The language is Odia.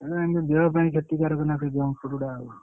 ଉଁ ଦେହ ପାଇଁ କ୍ଷତିକାରକ ନା ସେଇ junk food ଗୁରା ଆଉ।